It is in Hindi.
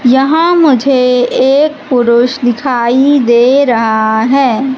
यहां मुझे एक पुरुष दिखाई दे रहा हैं।